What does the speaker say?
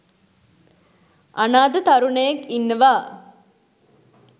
අනාථ තරුණයෙක් ඉන්නවා